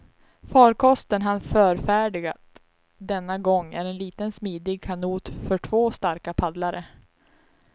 Farkosten han förfärdigat denna gång är en liten smidig kanot för två starka paddlare.